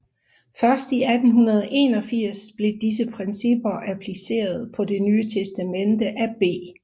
Først i 1881 blev disse principper appliceret på Det Nye Testamente af B